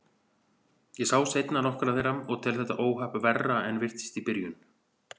Ég sá seinna nokkrar þeirra og tel þetta óhapp verra en virtist í byrjun.